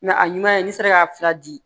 a ɲuman ye n'i sera k'a fila di